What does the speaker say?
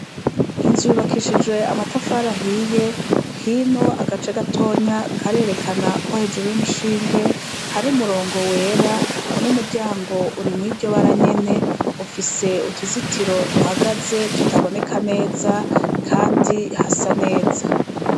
Inzu yubakishijwe amatafari ahiye, hino agace gatonya karerekana ko hejuru y' umushinge hari umurongo wera, n' umuryango uri mw' iryo bara nyene, ufise uruzitiro duhagaze ritaboneka neza, kandi hasa neza.